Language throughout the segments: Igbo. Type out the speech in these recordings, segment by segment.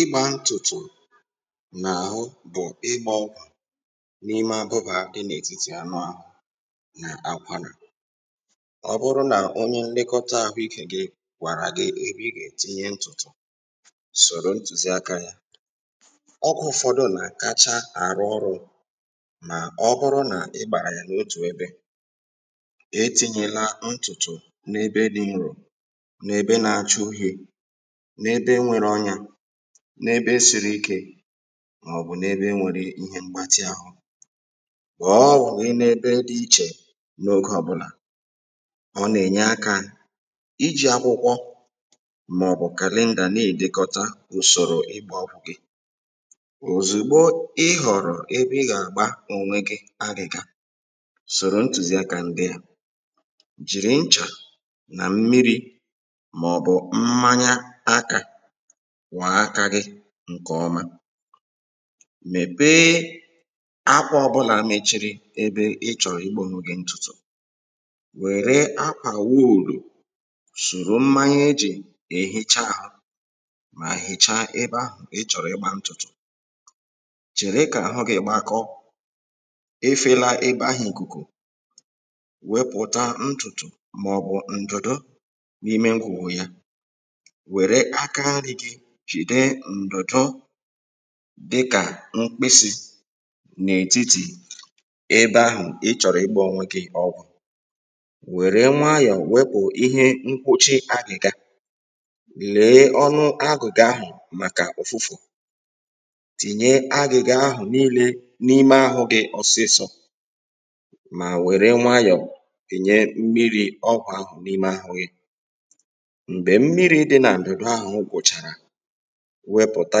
ịgbā ntụ̀tụ̀ n’àhụ bụ̀ ígbā ọgwụ̀ n’ime abụbà dị n’ètitì anụ āhụ̄ nà akwarà ọ bụrụ nà onye mmekọta ahụikē gị̄ gwàrà gị ebe ị gà-ètinye ntụ̀tụ̀ sòro ntùziakā yā ọgwụ̄ ụfọdụ nà-à̀kacha arụ ọrụ̄ mà ọ bụrụ nà ị gbàrà yà n’otù ebē etīnyēlā ntụ̀tụ̀ n’ebe dị̄ nrò na ebe nā-āchā uhiē nede nwērē ọnyā nebe siri ikē mạ̀ọ̀bụ̀ n’ebe nwērē ihe mgbatị áhụ̄ ghọ̀ọ ọghọ̀ gị n’ebe dị̄̄ ichè n’oge ọbụ̄là ọ nà-ènye akā ijī akwụkwọ àọ̀bụ̀ kàlendà na-èdekọta ùsòrò ịgbā ọgwụ̀ gị òzùgbò ị họrọ ebe ị gà àgba onwe gị agị̀ga soro ntùziakā ndị à jìri nchà nà ḿḿirī màọ̀bụ̀ mmanya akā kwọ̀̄ọ aka gị̄ ṅ̀kè ọma mèpéé akwà ọbụlà mechiri ebe ị chọ̀rọ̀ ịgbā onwe gị̄ ṇtụtụ̄ wère akwà wuùlù sùru mmanya e jì èhicha ahụ mà hìchaa ebe ahụ̀ ị chọ̀rọ̀ igbā ntụtụ chère kà àhụ gị̄ gbakọọ efēlā ebe ahụ̀ ìkùkù wepụ̀ta ntùtù màọ̀bụ̀ ǹdùdu n’ime ngwùgwù ya wère aka nrī gī jìde ǹdụ̀dụ dịkà m̀kpịsị̄ dịkà mkpịsị̄ ebe ahụ̀ ị chọ̀rò ịgbā onwe gị̄ ọgwụ̀ wère nwayọ̀ọ̀ wepụ̀ ihe nkwuchi agị̀ga lèe ọnụ agù̩̣gà ahụ̀ màkà ụ̀fụfụ̀ tìnye agị̀ga ahụ̀ niilē tìnye agị̀ga ahụ̀ niilē mà wère nwayọ̀ tìnye mmirī̄ ọgwụ ahụ̀ n’ime àhụ gị̄ mgbè mmiri ̄dị nà ǹdụ̀dụ̀ ahụ̀ gwụ̀chàrà wepùta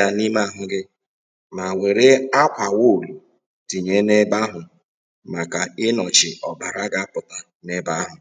yā n’ime ahụ gị̄ mà wère akwà wuulù tìnye n’ebe ahụ màkà ịnọchi ọ̀bàrà ga-apụ̀ta ebe ahụ̀